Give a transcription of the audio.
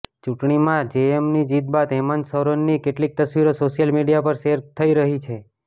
ચૂંટણીમાં જેએમએમની જીત બાદ હેમંત સોરેનની કેટલીક તસવીરો સોશિયલ મીડિયા પર શેર થઇ રહી છે